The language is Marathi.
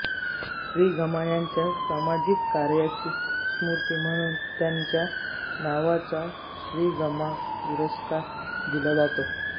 श्रीगमा यांच्या सामाजिक कार्याची स्मृती म्हणून त्यांच्या नावाचा श्रीगमा पुरस्कार दिला जातो